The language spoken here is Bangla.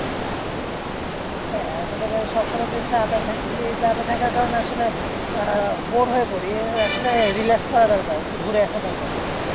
হ্যাঁ আমাদের কাজে সবসময় যে চাপে থাকি এই চাপে থাকার কারণে আসলে bore হয়ে পরি আসলে relax হওয়া দরকার, একটু ঘুরে আসা দরকার কোথাও থেকে।